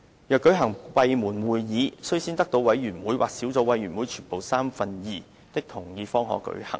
若舉行閉門會議，須先得到委員會或小組委員會全部委員三分之二的同意方可舉行。